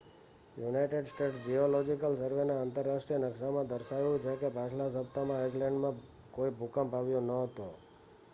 United States Geological સર્વેના આંતરરાષ્ટ્રીય નકશામાં દર્શાવાયું છે કે પાછલા સપ્તાહમાં આઇસલૅન્ડમાં કોઈ ભૂકંપ આવ્યો ન હતો